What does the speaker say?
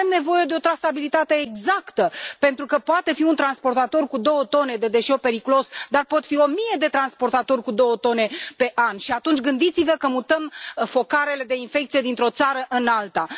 Noi avem nevoie de o trasabilitate exactă, pentru că poate fi un transportator cu două tone de deșeu periculos, dar pot fi o mie de transportatori cu două tone pe an și atunci, gândiți vă că mutăm focarele de infecție dintr o țară în alta.